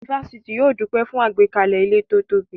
Ifásitì yóò dúpẹ́ fún àgbékalẹ̀ ilé tí ó tóbi